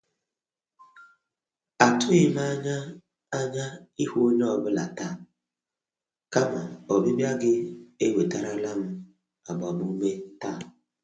Atụghị m anya anya ịhụ onye ọ bụla taa, kama ọbịbịa gị ewetarala m agbamume taa.